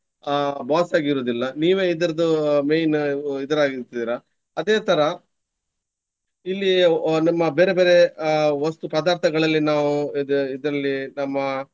ಅಹ್ boss ಆಗಿ ಇರುವುದಿಲ್ಲ. ನೀವೇ ಇದರದ್ದು main ಇದರ ಆಗಿ ಇರ್ತೀರ. ಅದೇ ತರ ಇಲ್ಲಿಯೂ ನಮ್ಮ ಬೇರೆ ಬೇರೆ ಅಹ್ ವಸ್ತು ಪದಾರ್ಥಗಳಲ್ಲಿ ನಾವು ಇದು ಇದರಲ್ಲಿ ನಮ್ಮ.